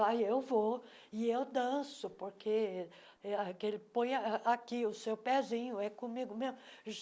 Aí eu vou e eu danço, porque é aquele... Põe ah aqui o seu pezinho, é comigo mesmo.